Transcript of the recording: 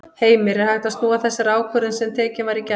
Heimir: Er hægt að snúa þessari ákvörðun sem tekin var í gær?